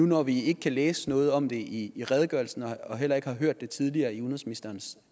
når vi ikke kan læse noget om det i redegørelsen og heller ikke har hørt det tidligere i udenrigsministerens